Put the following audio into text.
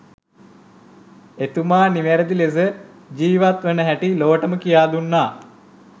එතුමා නිවැරදි ලෙස ජීවත් වෙන හැටි ලොවටම කියා දුන්නා